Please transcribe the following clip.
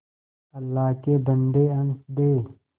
अल्लाह के बन्दे हंस दे